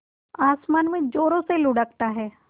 आसमान में ज़ोरों से लुढ़कता है